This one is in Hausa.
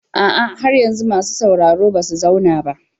A'a, har yanzu masu sauraro ba su zauna ba.